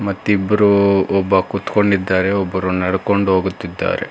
ಮತ್ತಿಬ್ಬರು ಒಬ್ಬ ಕುತ್ಕೊಂಡಿದ್ದಾರೆ ಒಬ್ಬ ನೆಡ್ಕೊಂಡು ಹೋಗುತ್ತಿದ್ದಾರೆ.